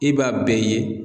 I b'a bɛɛ ye.